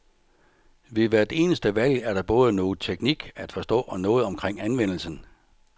Ved hvert eneste valg er der både noget teknik at forstå, og noget omkring anvendelsen.